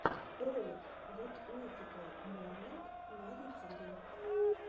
ролик гуд мификал морнинг на ютюбе